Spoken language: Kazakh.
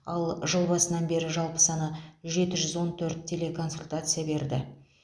ал жыл басынан бері жалпы саны жеті жүз он төрт телеконсультация берді